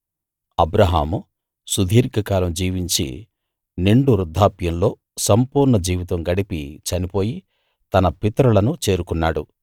అబ్రాహాము సుదీర్ఘకాలం జీవించి నిండు వృద్ధాప్యంలో సంపూర్ణ జీవితం గడిపి చనిపోయి తన పితరులను చేరుకున్నాడు